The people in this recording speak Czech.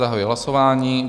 Zahajuji hlasování.